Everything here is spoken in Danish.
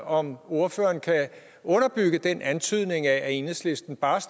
om ordføreren kan underbygge den antydning af at enhedslisten bare